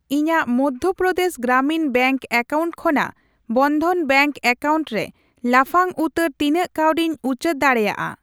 ᱤᱧᱟᱜ Madhya Pradesh Gramin bank account ᱠᱷᱚᱱᱟᱜ Bandhan bank account ᱨᱮ ᱞᱟᱯᱷᱟᱝ ᱩᱛᱟᱹᱨ ᱛᱤᱱᱟᱹᱜ ᱠᱟᱹᱣᱰᱤᱧ ᱩᱪᱟᱹᱲ ᱫᱟᱲᱮᱭᱟᱜᱼᱟ ?